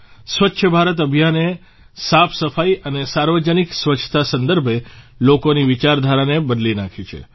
સ્વચ્છ ભારત અભિયાને સાફસફાઇ અને સાર્વજનિક સ્વચ્છતા સંદર્ભે લોકોની વિચારધારાને બદલી નાંખી છે